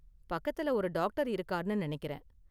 பக்கத்துல ஒரு டாக்டர் இருக்கார்னு நினைக்கிறேன்.